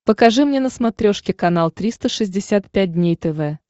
покажи мне на смотрешке канал триста шестьдесят пять дней тв